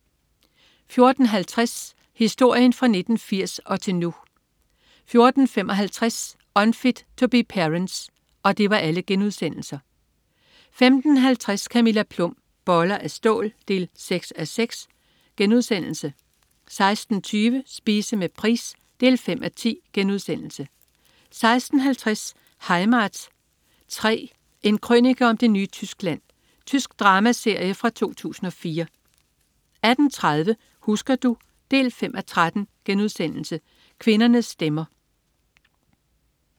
14.50 Historien fra 1980 og til nu* 14.55 Unfit To Be Parents* 15.50 Camilla Plum. Boller af stål 6:6* 16.20 Spise med Price 5:10* 16.50 Heimat 3. En krønike om det nye Tyskland. Tysk dramaserie fra 2004 18.30 Husker du? 5:13.* Kvindernes stemmer